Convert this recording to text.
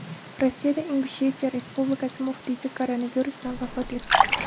Rossiyada Ingushetiya Respublikasi muftiysi koronavirusdan vafot etdi.